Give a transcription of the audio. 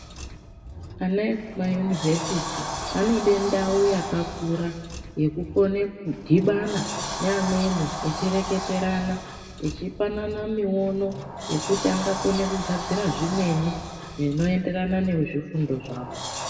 Ana ekuma univhesiti vanoda ndau yakakura yeku kone kudhibana neamweni echireketerana echipanana miono yekuti angakone kugadzira zvimweni zvinoenderana nezvefundo zvavo .